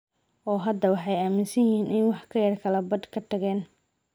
Oo hadda waxay aaminsan yihiin in wax ka yar kala badh ay ka tageen.